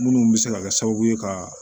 Minnu bɛ se ka kɛ sababu ye ka